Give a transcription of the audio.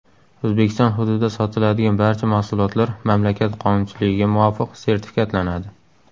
O‘zbekiston hududida sotiladigan barcha mahsulotlar mamlakat qonunchiligiga muvofiq sertifikatlanadi.